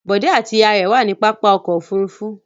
Bọ̀dé àti ìyá rẹ̀ wà ní pápá ọkọ̀-òfurufú.